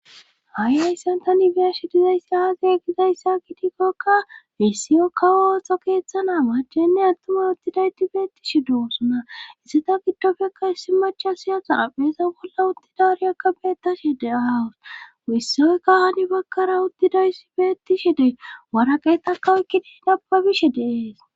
Ha ayssan tani beeshi dizayssa azie gizayssa gidikkokka wessiyo kawo ooththo keeththana machenne attuma uttida ti beetti shi dousunaisseta giddofekka issi machasiyatha apheesa bolla udtidariyakka beettashe de ahawus wissiyoykka hani bakkara udtiday ssi beettishe de waraqeta kawekkidiin abbabishe deees.